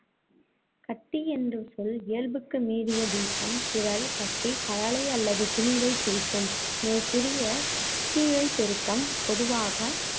கட்டி என்ற சொல் இயல்புக்கு மீறிய வீக்கம், திரள், கட்டி, கழலை அல்லது திணிவைக் குறிக்கும். மேற்கூறிய புத்திழையப் பெருக்கம், பொதுவாக